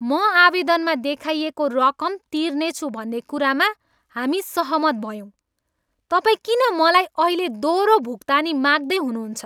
म आवेदनमा देखाइएको रकम तिर्नेछु भन्ने कुरामा हामी सहमत भयौँ। तपाईँ किन मलाई अहिले दोहोरो भुक्तानी माग्दै हुनुहुन्छ?